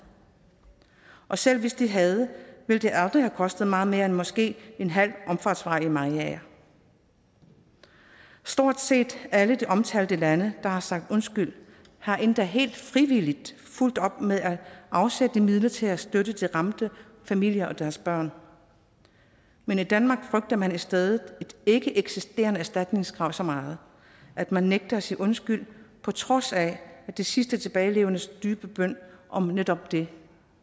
og selv hvis de havde ville det aldrig have kostet meget mere end måske en halv omfartsvej i mariager stort set alle de omtalte lande der har sagt undskyld har endda helt frivilligt fulgt den op med at afsætte midler til at støtte de ramte familier og deres børn men i danmark frygter man i stedet et ikkeeksisterende erstatningskrav så meget at man nægter at sige undskyld på trods af at de sidste tilbagelevendes dybe bøn om netop det